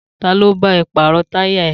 Ta ló bá ẹ pàrọ̀ táyà ẹ?